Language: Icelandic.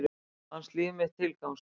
Fannst líf mitt tilgangslaust.